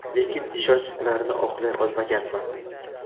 Lekin ishonchlarini oqlay olmaganman.